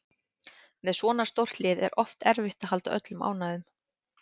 Með svona stórt lið er oft erfitt að halda öllum ánægðum